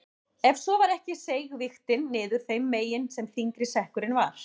Ef svo var ekki seig vigtin niður þeim megin sem þyngri sekkurinn var.